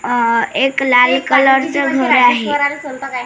अ एक लाल कलर च घर आहे.